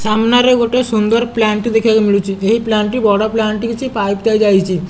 ସାମ୍ନାରେ ଗୋଟେ ସୁନ୍ଦର ପ୍ଲାଣ୍ଟ ଟେ ଦେଖିବାକୁ ମିଳୁଚି ଏହି ପ୍ଲାଣ୍ଟ ଟି ବଡ଼ ପ୍ଲାଣ୍ଟ ଟି ହେଇଚି ପାଇପ ଟା ଯାଇଚି।